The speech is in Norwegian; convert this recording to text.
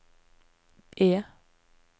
E